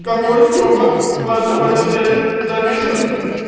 какой стёпа во всём этом деле замешан